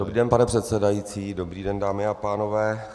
Dobrý den, pane předsedající, dobrý den, dámy a pánové.